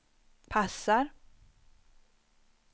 passar